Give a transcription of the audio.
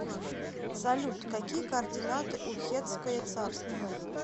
салют какие координаты у хеттское царство